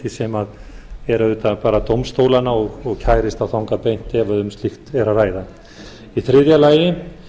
sem er auðvitað bara dómstólanna og kærist þá þangað beint ef um slíkt er að ræða í þriðja lagi